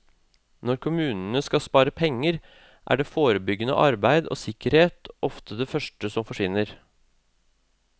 Når kommunene skal spare penger, er forebyggende arbeid og sikkerhet ofte det første som forsvinner.